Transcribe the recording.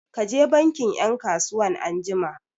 Ka je bankin 'yan kasuwan anjima!